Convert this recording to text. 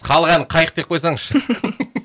халық әні қайық деп қойсаңызшы